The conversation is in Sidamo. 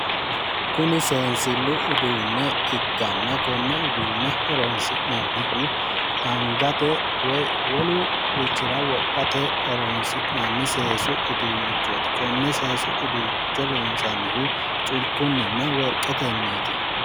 Kuni seensillu uduunne ikkanna konne uduunne horonsi'nannihu angate woyi wolurichira wodhste horonsi'nanni seesu uduunnichooti konne seesu uduunnicho loonsannihu culkkinninna worqqetenniiti.